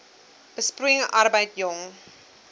besproeiing arbeid jong